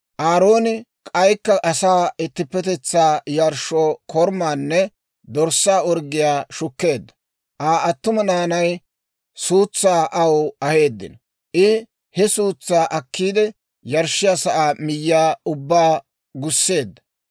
Aarooni k'aykka asaa ittippetetsaa yarshshoo korumaanne dorssaa orggiyaa shukkeedda; Aa attuma naanay suutsaa aw aheeddino; I he suutsaa akkiide, yarshshiyaa sa'aa miyyiyaa ubbaa gusseedda.